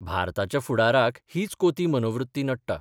भारताच्या फुडाराक हीच कोती मनोवृत्ती नडटा.